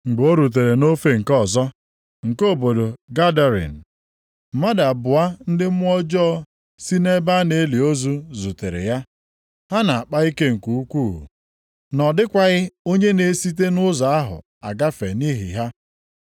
Mgbe o rutere nʼofe nke ọzọ nke obodo Gadarin, mmadụ abụọ ndị mmụọ ọjọọ si nʼebe a na-eli ozu zutere ya. Ha na-akpa ike nke ukwuu, na ọ dịkwaghị onye na-esite nʼụzọ ahụ agafe nʼihi ha.